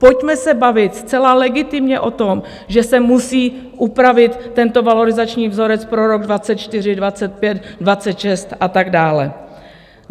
Pojďme se bavit zcela legitimně o tom, že se musí upravit tento valorizační vzorec pro rok 2024, 2025, 2026 a tak dále.